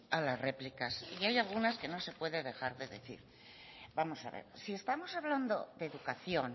a las réplicas y hay algunas que no se pueden dejar de decir vamos a ver si estamos hablando de educación